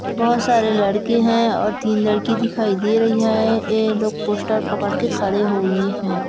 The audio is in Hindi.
बहुत सारे लड़के है और तीन लड़की दिखाई दे रही है ये लोग पोस्टर पकड़ के खड़े हुए है ।